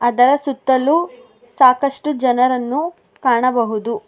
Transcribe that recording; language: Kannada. ಅದರ ಸುತ್ತಲೂ ಸಾಕಷ್ಟು ಜನರನ್ನು ಕಾಣಬಹುದು.